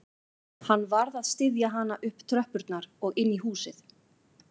Hann varð að styðja hana upp tröppurnar og inn í húsið